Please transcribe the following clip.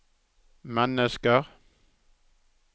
mennesker